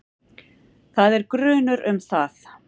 Það er grunur um það.